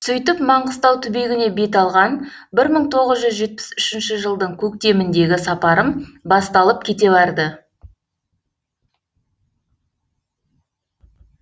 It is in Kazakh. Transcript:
сөйтіп маңғыстау түбегіне бет алған бір мың тоғыз жүз жетпіс үшінші жылдың көктеміндегі сапарым басталып кете барды